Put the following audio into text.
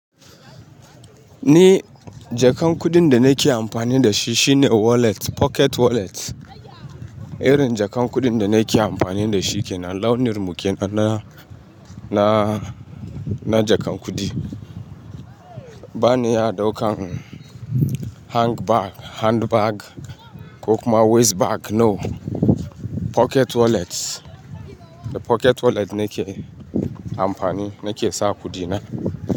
Ni jakan kuɗin da nake amfani da shi shine wallet, pocket wallet. Irin jakan kuɗin da nake amfani da shi kenan, launin muke nan na, na, na jakan kuɗi. Ba ni ya daukan hand bag, hand bag ko kuma waist bag. No, pocket wallet. Da pocket wallet ne ke amfani, nake sa kuɗi ne.